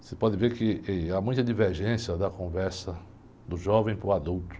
Você pode ver que, que há muita divergência da conversa do jovem para o adulto.